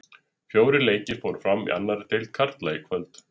Fjórir leikir fóru fram í annari deild karla í kvöld.